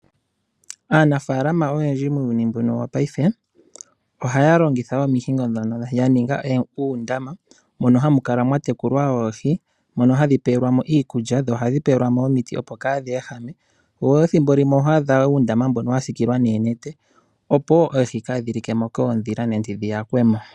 Aanafalama oyendji muuyuni mbuno wopaife ohaya longithawo omihingo ndhono ya ninga uundama mono hamu kala mwa tekulwa oohi. Mono hadhi pewelwa mo iikulya noshowo omiti opo kadhi ehame, nethimbo limwe oho adha uundamo mbono wa sikilwa noonete opo oohi kadhi likemo koondhila nenge dhi yakwe mo.